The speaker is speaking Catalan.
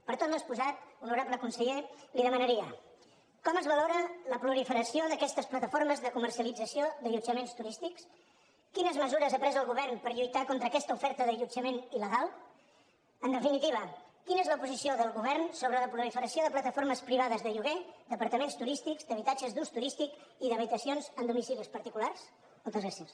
per tot l’exposat honorable conseller li demanaria com es valora la proliferació d’aquestes plataformes de comercialització d’allotjaments turístics quines mesures ha pres el govern per lluitar contra aquesta oferta d’allotjament il·legal en definitiva quina és la posició del govern sobre la proliferació de plataformes privades de lloguer d’apartaments turístics d’habitatges d’ús turístic i d’habitacions en domicilis particulars moltes gràcies